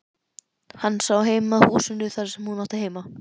Hann sá heim að húsinu þar sem hún átti heima.